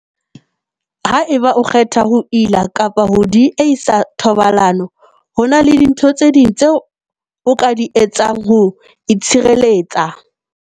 Haeba o kgetha ho ila kapa ho diehisa thobalano, ho na le dintho tse ding tseo o ka di etsang ho itshireletsa.